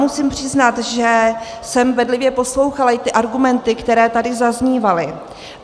Musím přiznat, že jsem bedlivě poslouchala i ty argumenty, které tady zaznívaly.